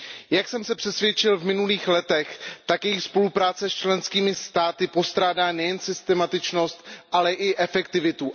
Jak jsem se přesvědčil v minulých letech, tak její spolupráce s členskými státy postrádá nejen systematičnost, ale i efektivitu.